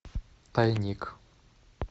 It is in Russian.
тайник